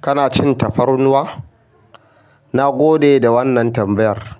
Kana cin tafarnuwa? Nagode da wannan tambayar.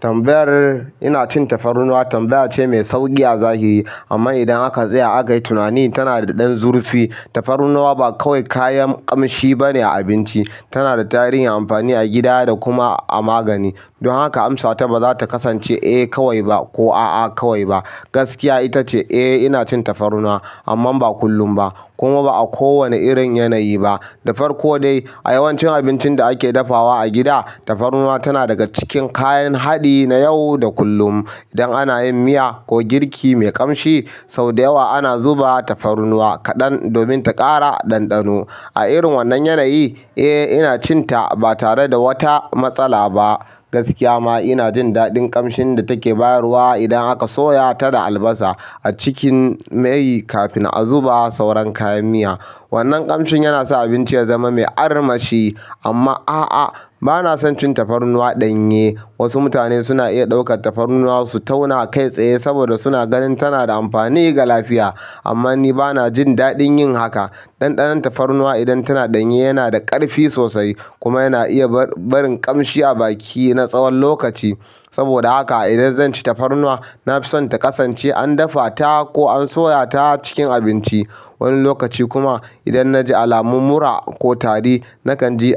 Tambayar "ina cin tafarnuwa" tambaya ce mai sauƙi a zahiri, amma idan aka tsaya a kayi tunani, tana da ɗan zurfi. Tafarnuwa ba kawai kayan ƙamshi ba ne a abinci, tana da tarihin amfani a gida da kuma a magani. Don haka, amsata ba za ta kasance "eh kawai ba" ko "a'a kawai ba". Gaskiya ita ce, eh, ina cin tafarnuwa, amman ba kullum ba, kuma ba a kowane irin yanayi ba. Da farko dai, a yawancin abincin da ake dafawa a gida, tafarnuwa tana daga cikin kayan haɗi na yau da kullum. Idan ana yin miya ko girki mai ƙamshi, sau da yawa ana zuba tafarnuwa kaɗan domin ta ƙara ɗanɗano. A irin wannan yanayi, eh, ina cin ta ba tare da wata matsala ba. Gaskiya ma, ina jin daɗin ƙamshin da take bayarwa idan aka soya ta da albasa a cikin mai kafin a zuba sauran kayan miya. Wannan ƙamshin yana sa abinci ya zama mai armashi. Amma a'a, ba na son cin tafarnuwa ɗanye. Wasu mutane suna iya ɗaukar tafarnuwa su tauna a kai tsaye saboda suna ganin tanada amfani ga lafiya, amma ni bana jin daɗin yin haka. Ɗanɗanon tafarnuwa idan tana ɗanye yana da ƙarfi sosai kuma yana iya barin ƙamshi a baki na tsawon lokaci. Saboda haka idan zan ci tafarnuwa, na fi son ta kasance an dafa ta ko an soya ta cikin abinci. Wani lokaci kuma, idan naji alamun mura ko tari, na kan ji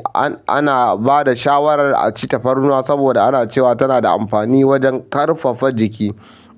ana ba da shawarar a ci tafarnuwa saboda ana cewa tana da amfani wajen ƙarfafa jiki.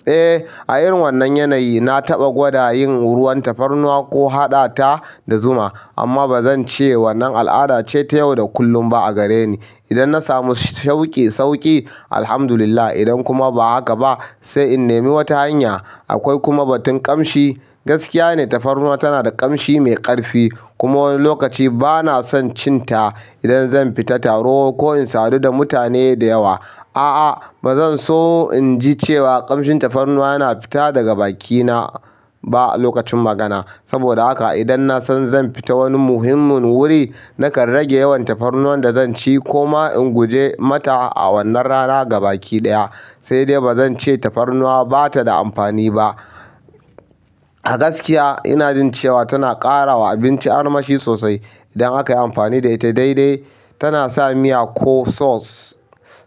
Eh, a irin wannan yanayi, na taɓa gwada yin ruwan tafarnuwa ko haɗa ta da zuma, amma ba zance wannan al'ada ce ta yau da kullun ba a gare ni. Idan na samu shauƙi, sauƙi, Alhamdulillah. Idan kuma ba haka ba, sai in nemi wata hanya. Akwai kuma batun ƙamshi. Gaskiya ne tafarnuwa tana da ƙamshi mai ƙarfi, kuma wani lokaci ba na son cin ta idan zan fita taro ko in sadu da mutane da yawa. A'a, ba zan so in ji cewa ƙamshin tafarnuwa yana fita daga bakina ba a lokacin magana. Saboda haka, idan na san zan fita wani muhimmin wuri, na kan rage yawan tafarnuwan da zan ci ko ma in guje mata a wannan rana ga baki ɗaya. Sai dai ba zan ce tafarnuwa ba ta da amfani ba. A gaskiya, ina jin cewa tana ƙara wa abinci armashi sosai idan aka yi amfani da ita daidai. Tana sa miya ko sauce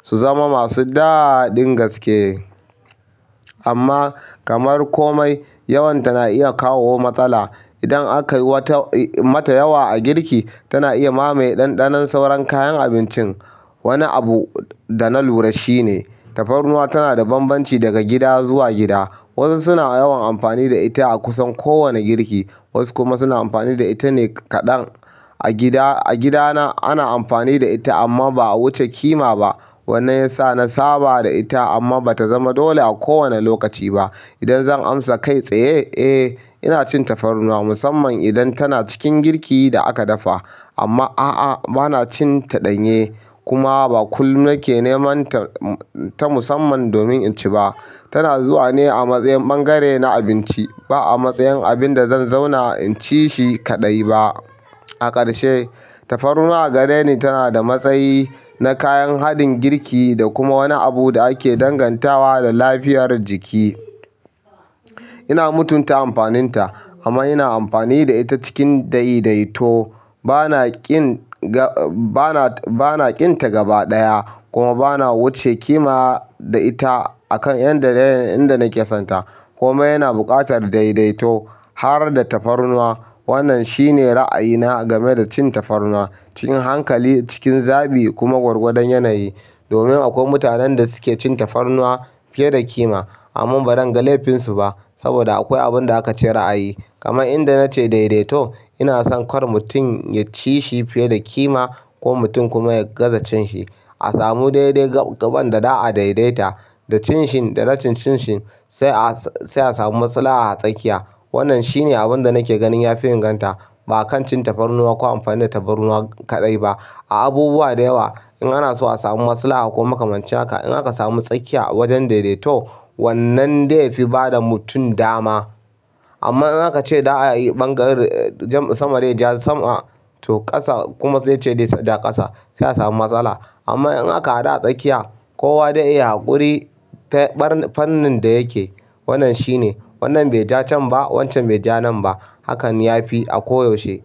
su zama masu daɗin gaske. Amma kamar komai, yawan ta na iya kawo matsala. Idan aka yi wata mata yawa a girki, tana iya mamaye ɗanɗanon sauran kayan abincin. Wani abu da na lura shi ne, tafarnuwa tana da banbanci daga gida zuwa gida. Wasu suna yawan amfani da ita a kusan kowane girki, wasu kuma suna amfani da ita ne kaɗan. A gidana ana amfani da ita amma ba'a wuce kima ba. Wannan ya sa na saba da ita amma ba ta zama dole a kowane lokaci ba. Idan zan amsa kai tsaye, eh, ina cin tafarnuwa musamman idan tana cikin girkin da aka dafa. Amma a'a, bana cin ta ɗanye, kuma ba kullum nake neman ta musamman domin in ci ba. Tana zuwa ne a matsayin bangare na abinci, ba a matsayin abin da zan zauna in ci shi kaɗai ba. A ƙarshe, tafarnuwa a gare ni tana da matsayi na kayan haɗin girki da kuma wani abu da ake dangantawa da lafiyar jiki. Ina mutunta amfanin ta amma ina amfani da ita cikin daidaito. Ba na ƙin ga ba na, ba na ƙin ta gaba ɗaya, kuma ba na wuce kima da ita a kan yanda dai yanda nake son ta. Komai yana buƙatar daidaito. Har da tafarnuwa, wannan shine ra'ayina game da cin tafarnuwa cikin hankali, cikin zaɓi kuma gwargwadon yanayi. Domin akwai mutanen da suke cin tafarnuwa fiye da kima. Amman bazan ga laifin su ba, saboda akwai abunda aka ce ra'ayi kaman inda na ce daidaito, ina son kar mutum ya ci shi fiye da kima ko mutum kuma ya gaza cin shi. A samu dai-dai gaɓan da za'a daidaita da cin sh da rashin cin shi sai a samu maslaha a tsakiya. Wannan shine abinda nake ganin ya fi inganta. Ba kan cin tafarnuwa ko amfani da tafarnuwa kaɗai ba. A abubuwa da yawa, in ana so a samu maslaha ko makamanci haka, in aka samu tsakiya wajen daidaito, wannan dai fi bada mutum dama. Amma in aka ce za'a yi bangaren sama dai ja sama, to ƙasa kuma dai ce za ta ja ƙasa, sai a samu matsala. Amma in aka haɗu a tsakiya, kowa dai iya haƙuri ta fannin da yake. Wannan shine. Wannan bai ja can ba, wancan bai ja nan ba. Hakan ya fi a koyaushe.